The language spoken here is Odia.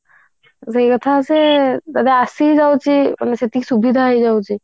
ସେଇ କଥା ଯେ ଏବେ ଆସି ଯାଉଛି ମାନେ ସେତିକି ସୁବିଧା ହେଇ ଯାଉଛି